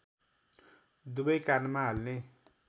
दुबै कानमा हाल्ने